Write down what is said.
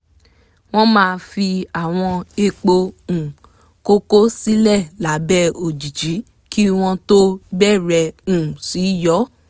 wọ́n máa fi àwọn èèpo um koko sílẹ̀ lábẹ́ òjìji kí wọ́n tó bẹ̀rẹ̀ um sí yọ́